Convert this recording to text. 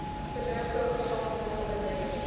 vennootskap gesamentlike onderneming